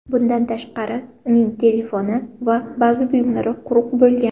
Bundan tashqari, uning telefoni va ba’zi buyumlari quruq bo‘lgan.